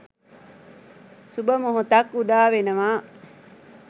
සුබ මොහොතක් උදා වෙනවා